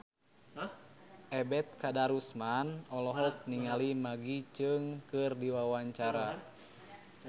Ebet Kadarusman olohok ningali Maggie Cheung keur diwawancara